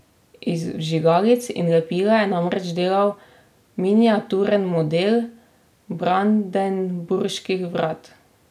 Iz vžigalic in lepila je namreč delal miniaturen model Brandenburških vrat.